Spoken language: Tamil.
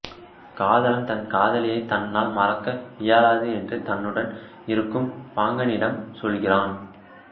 காதலன் தன் காதலியைத் தன்னால் மறக்க இயலாது என்று தன்னுடன் இருக்கும் பாங்கனிட்ம் சொல்கிறான்